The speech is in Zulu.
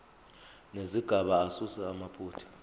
nezigaba asuse amaphutha